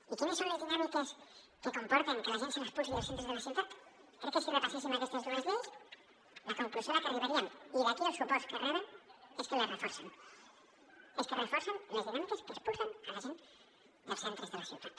i quines són les dinàmiques que comporten que a la gent se l’expulsi dels centres de la ciutat crec que si repasséssim aquestes dues lleis la conclusió a la que arribaríem i d’aquí els suports que reben és que les reforcen és que es reforcen les dinàmiques que expulsen la gent del centre de la ciutat